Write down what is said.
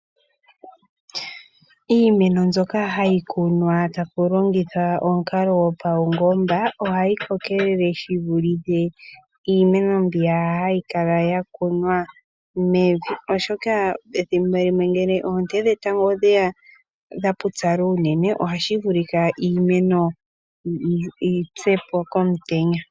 Iimeno mbyoka hayi kunwa tapu longithwa omukalo gwopaungomba, ohayi kokelele shi vulithe iimeno mbiya hayi kala yakunwa mevi, oshoka pethimbo limwe ngele oonte dhetango odheya dha pupyala unene, ohashi vulika iimeno yi pye po komutenya.